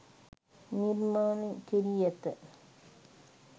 නිර්මණය කෙරී ඇත